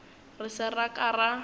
re se ra ka ra